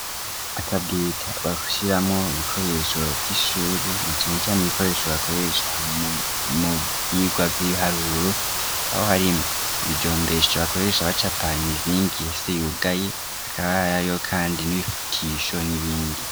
akabwita bashyiramwo ibikoresho vy'ishuri na cane cane ibikoresho bakoresha mu vyigwa vy'ibiharuro aho harimwo ibijombesho bakoresha abacapa imizingi ihese yugaye akaba ariho kandi n'ibifutisho n'ibindi.